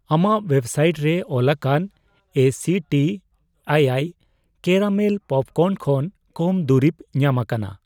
ᱟᱢᱟᱜ ᱣᱮᱵᱥᱟᱭᱤᱴ ᱨᱮ ᱚᱞᱟᱠᱟᱱ ᱮᱥᱤᱴᱤ ᱟᱭᱟᱭ ᱠᱮᱨᱟᱢᱮᱞ ᱯᱚᱯᱠᱚᱨᱱ ᱠᱷᱚᱱ ᱠᱚᱢ ᱫᱩᱨᱤᱯ ᱧᱟᱢᱟᱠᱟᱱᱟ